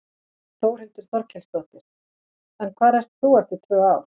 Þórhildur Þorkelsdóttir: En hvar ert þú eftir tvö ár?